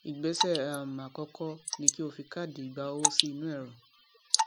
ìgbésẹ um àkọkọ ni kí o fi káàdì ìgba owó sí inú ẹrọ